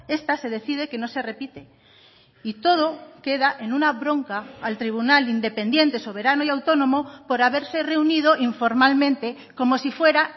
esta se decide que no se repite y todo queda en una bronca al tribunal independiente soberano y autónomo por haberse reunido informalmente como si fuera